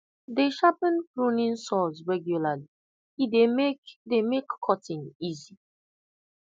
dey sharpen pruning saws regularly e dey make dey make cutting easy